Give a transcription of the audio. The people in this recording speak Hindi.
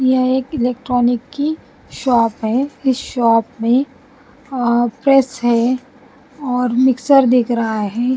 यह एक इलेक्ट्रॉनिक की शॉप है इस शॉप में अ प्रेस है और मिक्सर दिख रहा है।